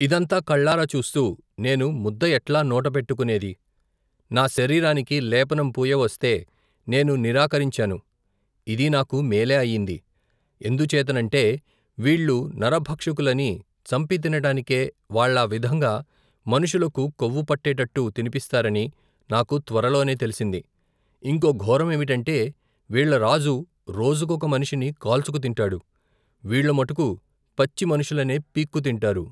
ఇదంతా కళ్లారా చూస్తూ నేను ముద్ద ఎట్లా నోట పెట్టుకునేది నా శరీరానికి లేపనం పూయవస్తే, నేను నిరాకరించాను ఇదీ నాకు మేలే అయింది ఎందుచేతనంటే వీళ్లు నరభక్షకులనీ చంపితినటానికే, వాళ్ళా విధంగా మనుషులకు కొవ్వు పట్టేటట్టు తినిపిస్తారనీ నాకు త్వరలోనే తెలిసింది ఇంకో ఘోరమేమిటంటే వీళ్లరాజు రోజుకొక మనిషిని కాల్చుకుతింటాడు వీళ్లుమటుకూ పచ్చిమనుషులనే పీక్కుతింటారు.